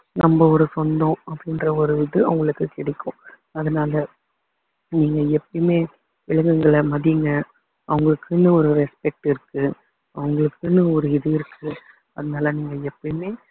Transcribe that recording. நம்ம ஒரு சொந்தம் அப்படின்ற ஒரு இது அவங்களுக்கு கிடைக்கும் அதனால நீங்க எப்பயுமே விலங்குகளை மதிங்க அவங்களுக்குன்னு ஒரு respect இருக்கு அவங்களுக்குன்னு ஒரு இது இருக்கு அதனால நீங்க எப்பயுமே